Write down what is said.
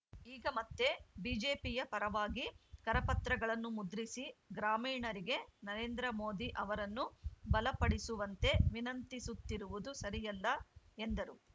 ಈಗ ಪತ್ತೆ ಬಿಜೆಪಿಯ ಪರವಾಗಿ ಕರಪತ್ರಗಳನ್ನು ಮುದ್ರಿಸಿ ಗ್ರಾಮೀಣರಿಗೆ ನರೇಂದ್ರ ಮೋದಿ ಅವರನ್ನು ಬಲಪಡಿಸುವಂತೆ ವಿನಂತಿಸುತ್ತಿರುವುದು ಸರಿಯಲ್ಲ ಎಂದರು